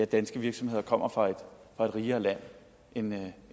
danske virksomheder kommer fra et rigere land end